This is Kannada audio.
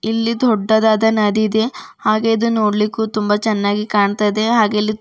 ಇಲ್ಲಿ ದೊಡ್ಡದಾದ ನದಿ ಇದೆ ಹಾಗೆ ಇದು ನೋಡ್ಲಿಕು ತುಂಬ ಚೆನ್ನಾಗಿ ಕಾಣ್ತ ಇದೆ ಹಾಗೆ ಇಲ್ಲಿ --